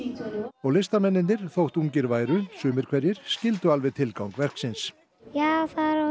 og listamennirnir þótt ungir væru sumir skildu alveg tilgang verksins já það er